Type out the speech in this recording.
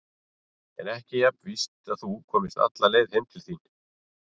En ekki jafn víst að þú komist alla leið heim til þín.